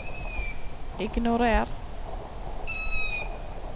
ignorer